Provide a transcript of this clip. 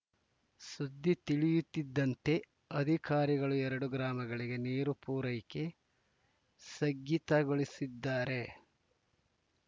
ಸುದ್ದಿ ತಿಳಿಯುತ್ತಿದ್ದಂತೆ ಅಧಿಕಾರಿಗಳು ಎರಡೂ ಗ್ರಾಮಗಳಿಗೆ ನೀರು ಪೂರೈಕೆ ಸಗ್ಗಿತಗೊಳಿಸಿದ್ದಾರೆ